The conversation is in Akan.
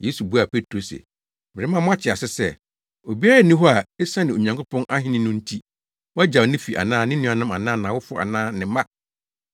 Yesu buaa Petro se, “Merema mo ate ase sɛ, obiara nni hɔ a, esiane Onyankopɔn ahenni no nti, wagyaw ne fi anaa ne nuanom anaa nʼawofo anaa ne mma